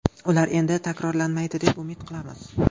Ular endi takrorlanmaydi deb umid qilamiz.